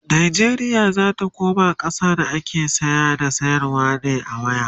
Najeriya zata koma ƙasa da ake saya da sayarwa ne a waya